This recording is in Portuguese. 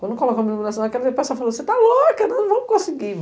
Quando colocamos a iluminação, falou, você está louca, nós não vamos conseguir.